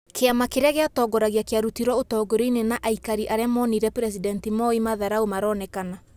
Kiama kĩria giatongoragia kiarutirwo ũtongoria-inĩ na aĩkarĩ aria monirie presidenti Moi madharau maronekana.